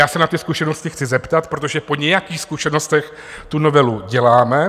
Já se na ty zkušenosti chci zeptat, protože po nějakých zkušenostech tu novelu děláme.